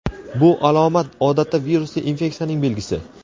Bu alomat odatda virusli infeksiyaning belgisi.